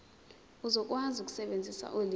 uzokwazi ukusebenzisa ulimi